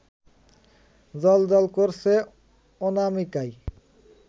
জ্বলজ্বল করছে অনামিকায়